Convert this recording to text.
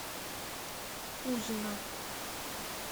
кузина